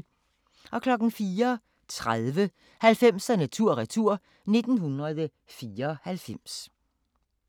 04:30: 90'erne tur-retur: 1994